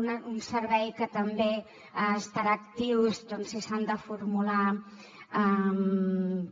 un servei que també estarà actiu si s’han de formular